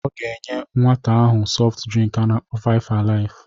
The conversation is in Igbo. Ọ ga enye nwata ahụ sọft drịnk a na-akpọ five-alive